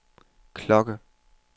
klokke